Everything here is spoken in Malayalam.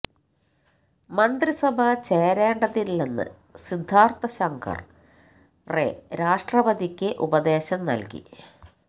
മന്ത്രിസഭ ചേരേണ്ടതില്ലെന്ന് സിദ്ധാർത്ഥ ശങ്കർ റേ രാഷ്ട്രപതിക്ക് ഉപദേശം നൽകി